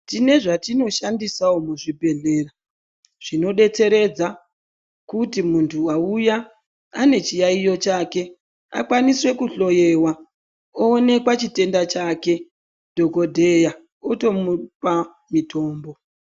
Tine zvetinoshandisawo muzvibhedhlera zvinodetseredza kuti muntu wauya ane chiyayiyo chake akwaniswe kuhloewa oonekwa chitenda chake dhokodheya otomupa mitombo.